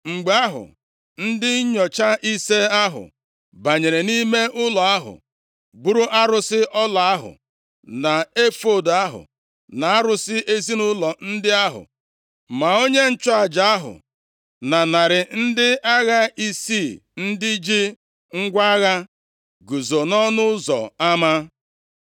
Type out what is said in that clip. Mgbe ahụ, ndị nnyocha ise ahụ banyere nʼime ụlọ ahụ buru arụsị ọla ahụ, na efọọd ahụ, na arụsị ezinaụlọ ndị ahụ, ma onye nchụaja ahụ na narị ndị agha isii ndị ji ngwa agha guzo nʼọnụ ụzọ ama.